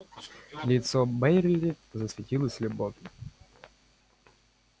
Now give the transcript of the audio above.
лицо байерли засветилось любовью